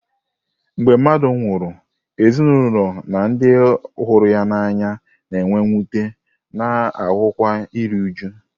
Mgbe mmadụ nwụrụ, ezinụlọ na ndị ọ hụrụ n'anya na-enwe mwute, a na-ahụkwa iru újú.